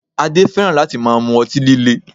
Adé fẹ́ràn láti máa mú ọtí líle